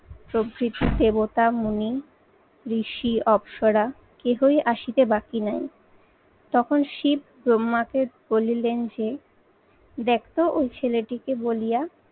প্রভৃতি দেবতা, মনি ঋষি, অপ্সরা, কেহই আসিতে বাকি নাই। তখন শিব ব্রহ্মাকে বলিলেন যে দেখো ওই ছেলেটিকে বলিয়া